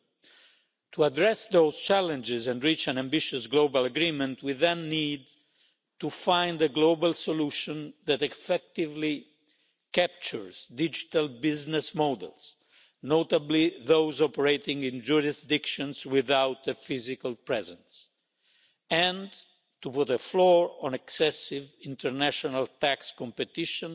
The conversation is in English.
2. To address those challenges and reach an ambitious global agreement, we then need to find a global solution that effectively captures digital business models, notably those operating in jurisdictions without a physical presence, and to put a floor on excessive international tax competition